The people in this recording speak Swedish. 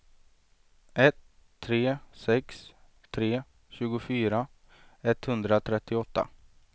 ett tre sex tre tjugofyra etthundratrettioåtta